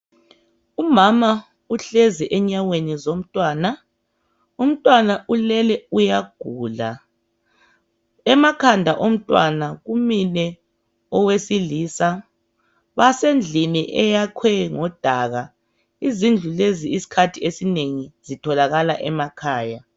Umama uhlezi enyaweni zomntwana. Umntwana ulele uyagula. Emakhanda omntwana kumile owesilisa basendlini eyakhwe ngomdaka. Izindlu lezi isikhathi esinengi zitholakala emakhaya.